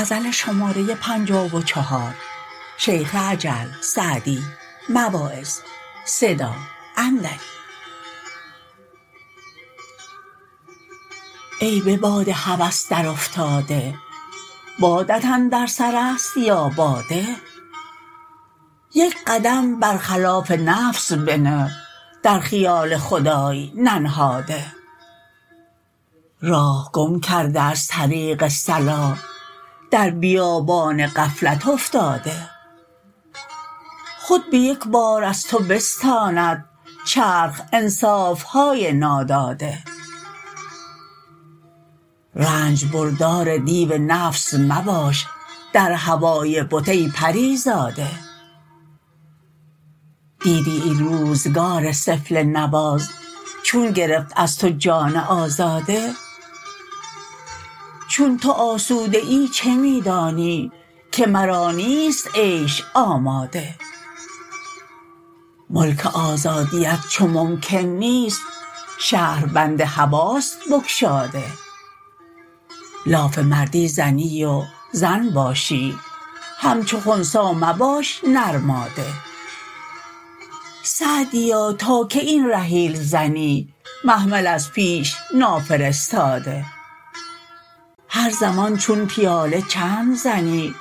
ای به باد هوس در افتاده بادت اندر سر است یا باده یک قدم بر خلاف نفس بنه در خیال خدای ننهاده راه گم کرده از طریق صلاح در بیابان غفلت افتاده خود به یک بار از تو بستاند چرخ انصافهای ناداده رنج بردار دیو نفس مباش در هوای بت ای پریزاده دیدی این روزگار سفله نواز چون گرفت از تو جان آزاده چون تو آسوده ای چه می دانی که مرا نیست عیش آماده ملک آزادیت چو ممکن نیست شهربند هواست بگشاده لاف مردی زنی و زن باشی همچو خنثی مباش نرماده سعدیا تا کی این رحیل زنی محمل از پیش نافرستاده هر زمان چون پیاله چند زنی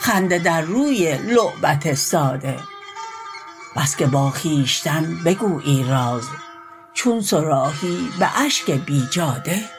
خنده در روی لعبت ساده بس که با خویشتن بگویی راز چون صراحی به اشک بیجاده